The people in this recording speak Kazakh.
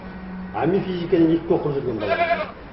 а мен физиканы екіге оқып жүрген баламын